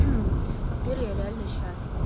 теперь я реально счастлива